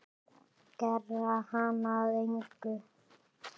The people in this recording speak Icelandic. Gera hana að engu.